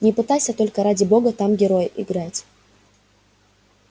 не пытайся только ради бога там героя играть